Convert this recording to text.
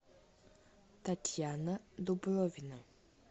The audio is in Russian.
татьяна дубровина